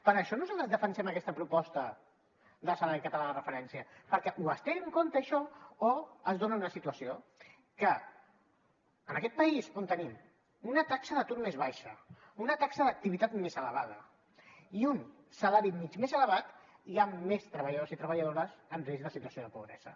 per això nosaltres defensem aquesta proposta de salari català de referència perquè o es té en compte això o es dona una situació que en aquest país on tenim una taxa d’atur més baixa una taxa d’activitat més elevada i un salari mitjà més elevat hi han més treballadors i treballadores en risc de situació de pobresa